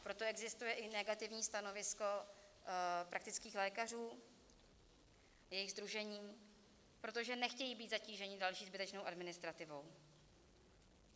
Proto existuje i negativní stanovisko praktických lékařů, jejich sdružení, protože nechtějí být zatíženi další zbytečnou administrativou.